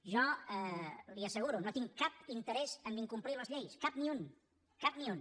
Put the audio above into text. jo li ho asseguro no tinc cap interès a incomplir les lleis cap ni un cap ni un